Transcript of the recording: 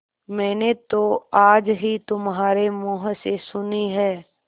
मैंने तो आज ही तुम्हारे मुँह से सुनी है